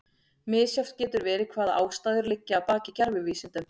Misjafnt getur verið hvaða ástæður liggja að baki gervivísindum.